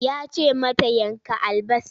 Ya ce mata ki yanka albasar!